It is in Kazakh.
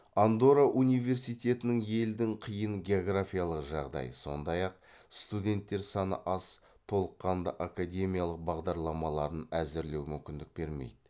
андорра университетінің елдің қиын географиялық жағдай сондай ақ студенттер саны аз толыққанды академиялық бағдарламаларын әзірлеу мүмкіндік бермейді